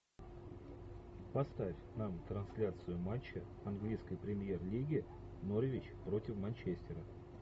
поставь нам трансляцию матча английской премьер лиги норвич против манчестера